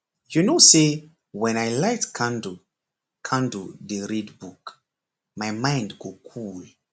you know say when i light candle candle dey read book my mind go cool